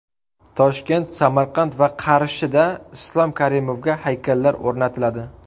Toshkent, Samarqand va Qarshida Islom Karimovga haykallar o‘rnatiladi.